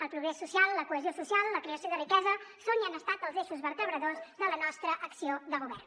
el progrés social la cohesió social la creació de riquesa són i han estat els eixos vertebradors de la nostra acció de govern